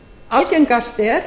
algengast er